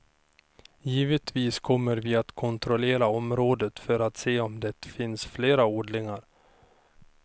Givetvis kommer vi att kontrollera området för att se om det finns fler odlingar.